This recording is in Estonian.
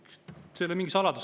See ei ole mingi saladus.